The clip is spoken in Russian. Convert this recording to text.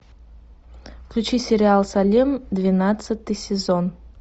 включи сериал салем двенадцатый сезон